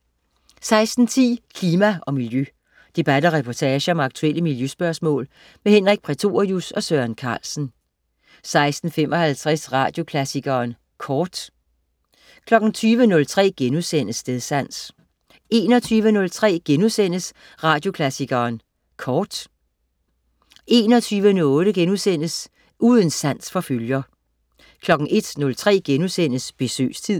16.10 Klima og Miljø. Debat og reportage om aktuelle miljøspørgsmål. Henrik Prætorius og Søren Carlsen 16.55 Radioklassikeren Kort 20.03 Stedsans* 21.03 Radioklassikeren Kort* 21.08 Uden sans for følger* 01.03 Besøgstid*